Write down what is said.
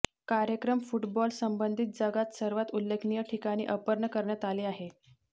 कार्यक्रम फुटबॉल संबंधित जगात सर्वात उल्लेखनीय ठिकाणी अर्पण करण्यात आले आहे